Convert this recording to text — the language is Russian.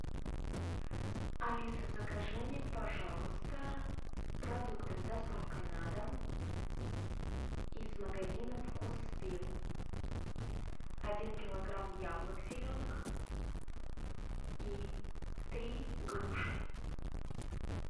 алиса закажи мне пожалуйста продукты с доставкой на дом из магазина вкус вилл один килограмм яблок зеленых и три груши